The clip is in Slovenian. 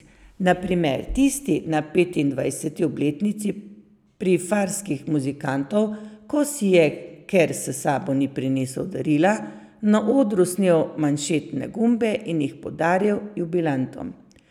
Na primer tisti na petindvajseti obletnici Prifarskih muzikantov, ko si je, ker s sabo ni prinesel darila, na odru snel manšetne gumbe in jih podaril jubilantom.